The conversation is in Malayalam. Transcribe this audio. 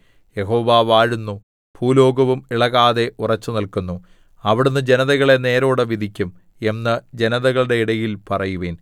യഹോവ വാഴുന്നു ഭൂലോകവും ഇളകാതെ ഉറച്ചുനില്ക്കുന്നു അവിടുന്ന് ജനതകളെ നേരോടെ വിധിക്കും എന്ന് ജനതകളുടെ ഇടയിൽ പറയുവിൻ